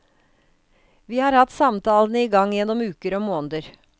Vi har hatt samtalene i gang gjennom uker og måneder.